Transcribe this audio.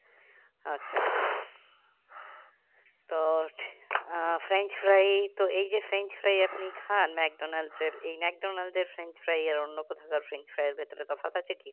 আচ্ছা তো আহ french fries তো এই যে french fries আপনি খান মেকডনাল্ড্স এর এই মেকডনাল্ড্স এর french fries আর অন্য কোথাকার french fries এর ভেতরে তফাৎ আছে কি?